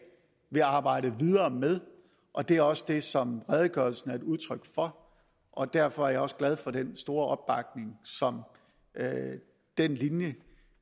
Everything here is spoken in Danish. vil arbejde videre med og det er også det som redegørelsen er et udtryk for og derfor er jeg også glad for den store opbakning som den linje